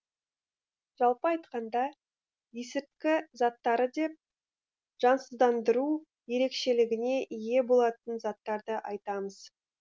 жалпы айтқанда есірткі заттары деп жансыздандыру ерекшелігіне ие болатын заттарды айтамыз